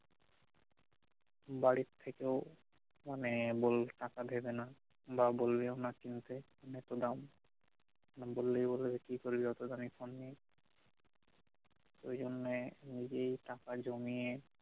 বারির থেকেও মানে টাকা দেবে না বা বলবেও না কিনতে এত দাম বা বললে বলবে যে কি করবি এত দামি ফোন নিয়ে এইজন্যই